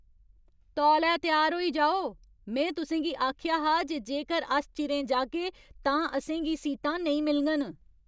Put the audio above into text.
तौले त्यार होई जाओ! में तुसें गी आखेआ हा जे जेकर अस चिरें जाह्गे तां असें गी सीटां नेईं मिलङन।